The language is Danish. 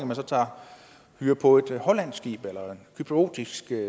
man tager hyre på et hollandsk eller cypriotisk